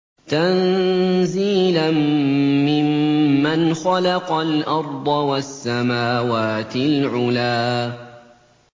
تَنزِيلًا مِّمَّنْ خَلَقَ الْأَرْضَ وَالسَّمَاوَاتِ الْعُلَى